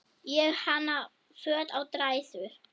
Ég hanna föt á dræsur.